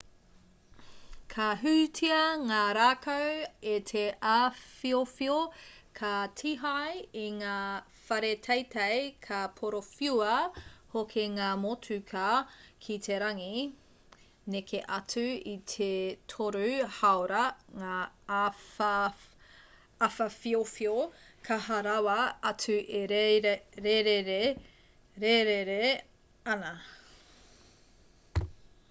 ka hūtia ngā rākau e te āwhawhiowhio ka tīhae i ngā whare teitei ka porowhiua hoki ngā motuka ki te rangi neke atu i te toru hāora ngā āwhawhiowhio kaha rawa atu e rērere ana